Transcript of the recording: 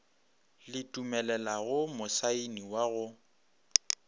le dumelelago mosaeni wa go